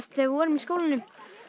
þegar við vorum í skólanum